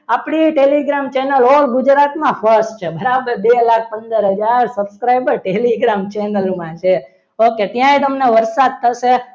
આપણી telegram channel ગુજરાતમાં first છે. બરાબર બે વાર પંદર હજાર subscribe પર telegram channel માં છે okay ત્યાં પણ વરસાદ થશે.